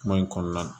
Kuma in kɔnɔna na